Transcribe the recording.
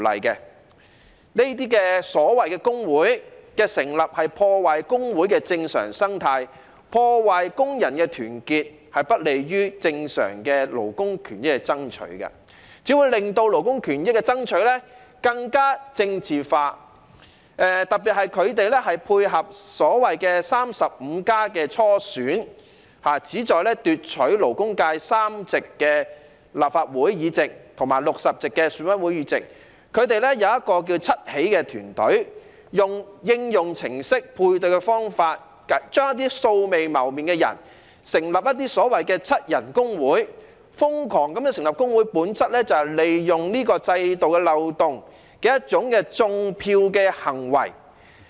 這些所謂工會的成立，破壞工會的正常生態，破壞工人的團結，不利於正常的勞工權益的爭取，只會令勞工權益的爭取更加政治化，特別是他們配合所謂 "35+ 初選"，旨在奪取勞工界3席立法會議席和60席選委會議席，他們有一個名為"七起"的團隊，利用應用程式配對的方法，讓素未謀面的人成立一些所謂"七人工會"，瘋狂地成立工會，本質是利用制度的漏洞，作出"種票"的行為。